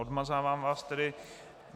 Odmazávám vás tedy.